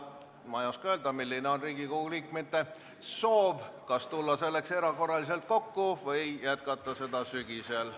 Ma ei oska öelda, milline on siis Riigikogu liikmete soov: kas tulla selleks erakorraliselt kokku või jätkata seda arutelu sügisel.